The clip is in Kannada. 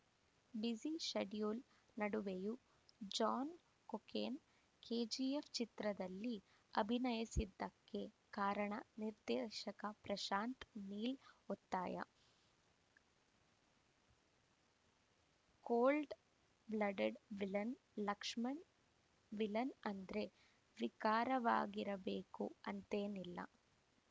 ಬ್ಯುಸಿ ಶೆಡ್ಯೂಲ್‌ ನಡುವೆಯೂ ಜಾನ್‌ ಕೊಕೇನ್‌ ಕೆಜಿಎಫ್‌ ಚಿತ್ರದಲ್ಲಿ ಅಭಿನಯಿಸಿದ್ದಕ್ಕೆ ಕಾರಣ ನಿರ್ದೇಶಕ ಪ್ರಶಾಂತ್‌ ನೀಲ್‌ ಒತ್ತಾಯ cold blooded villain Lakshman villain ಅಂದ್ರೆ ವಿಕಾರವಾಗಿರಬೇಕು ಅಂತೇನಿಲ್ಲ